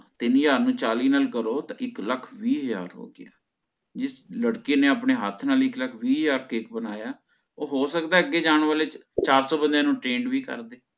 ਤੀਨ ਹਜ਼ਾਰ ਨੂੰ ਚਾਲੀ ਨਾਲ ਕਰੋ ਤਾਂ ਇੱਕ ਲੱਖ ਵੀਹ ਹਜ਼ਾਰ ਹੋਗਯਾ ਜਿਸ ਲੜਕੀ ਨੇ ਆਪਣੇ ਹੱਥ ਨਾਲ ਇੱਕ ਲੱਖ ਵੀਹ ਹਜ਼ਾਰ ਕੇਕ ਬਣਾਇਆ ਓਹ ਹੋ ਸਕਦਾ ਅਗੇ ਜਾਣ ਵਾਲੇ ਚਾਰ ਸੌ ਬੰਦਿਆਂ ਨੂੰ trained ਵੀ ਕਰਦੇ